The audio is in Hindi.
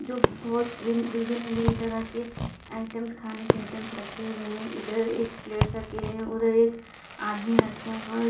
बहुत विभिन्न विभिन्न तरह के आइटम्स खाने के आइटम्स रखे हुए हैं इधर एक प्लेट्स रखे हैं उधर एक आदमी रखा हुआ है।